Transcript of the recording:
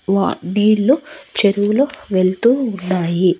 వా నీళ్ళు చెరువులో వెళ్తూ ఉన్నాయి.